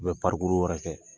U bɛ wɛrɛ kɛ